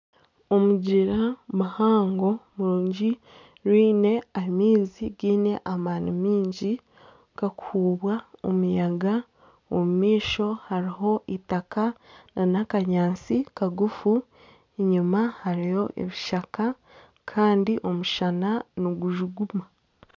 Omugyera muhango murungi gwine amaizi gaine amaani maingi, gakuhuubwa omuyaga, omu maisho hariho eitaka nana akanyaatsi kagufu, enyima hariyo ebishaka kandi omushana nigujuguma.